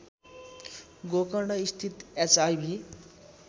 गोकर्णस्थित HIV